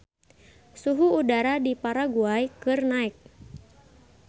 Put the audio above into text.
Suhu udara di Paraguay keur naek